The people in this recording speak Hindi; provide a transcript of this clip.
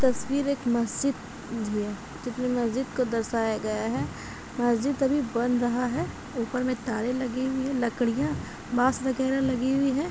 तस्वीर एक मस्जिद की है जिसमें मस्जिद को दर्शाया गया है। मस्जिद अभी बन रहा है। ऊपर में तारे लगे हुए हैं। लकड़ियां बांस वगैरह लगी हुई हैं।